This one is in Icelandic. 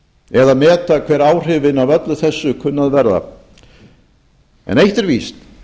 eða meta hver áhrifin af öllu þessu kunna að verða en eitt er víst